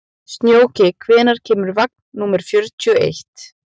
Snjóki, hvenær kemur vagn númer fjörutíu og eitt?